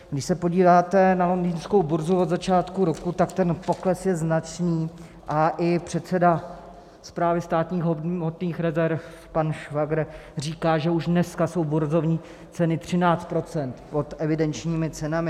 Když se podíváte na londýnskou burzu od začátku roku, tak ten pokles je značný a i předseda Správy státních hmotných rezerv pan Švagr říká, že už dneska jsou burzovní ceny 13 % pod evidenčními cenami.